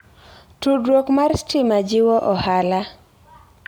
Tudruok mar stima jiwo ohala.